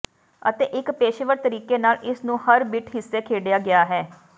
ਅਤੇ ਇੱਕ ਪੇਸ਼ੇਵਰ ਤਰੀਕੇ ਨਾਲ ਇਸ ਨੂੰ ਹਰ ਬਿੱਟ ਹਿੱਸੇ ਖੇਡਿਆ ਗਿਆ ਹੈ